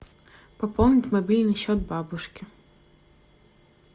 пополнить мобильный счет бабушки